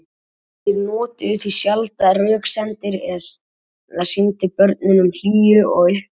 Þeir notuðu því sjaldan röksemdir eða sýndu börnunum hlýju og uppörvun.